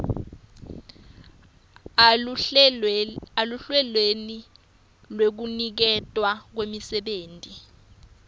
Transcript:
eluhlelweni lwekuniketwa kwemisebenti